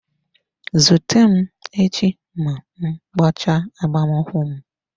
Zute m echi ma m mechaa agbamakwụkwọ m.